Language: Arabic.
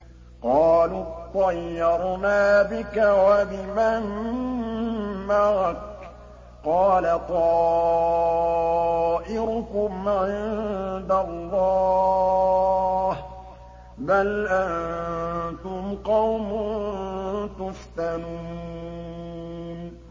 قَالُوا اطَّيَّرْنَا بِكَ وَبِمَن مَّعَكَ ۚ قَالَ طَائِرُكُمْ عِندَ اللَّهِ ۖ بَلْ أَنتُمْ قَوْمٌ تُفْتَنُونَ